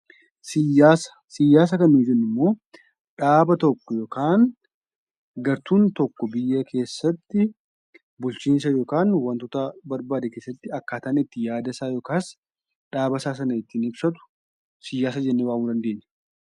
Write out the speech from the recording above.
Siyaasa kan nuti jennu dhaaba tokko yookiin gartuun tokko biyya keessatti bulchiinsa yookiin wantoota barbaade keessatti akkataan inni itti yaada isaa yookiin dhaaba isaa ittiin ibsatu siyaasa jennee waamuu dandeenya.